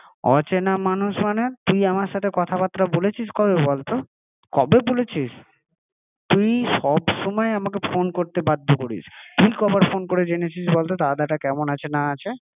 অচেনা মানুষ মানে তুই আমার সাথে কথা বার্তা বলেছিস কবে বলতো? কবে বলেছিস? তুই সব সময় আমাকে ফোন করতে বাধ্য করিস তুই কত বার ফোন করে জেনেছিস বলতো দাদাটা কেমন আছে না আছে?